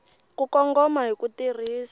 ku kongoma hi ku tirhisa